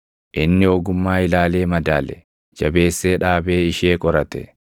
inni ogummaa ilaalee madaale; jabeessee dhaabee ishee qorate.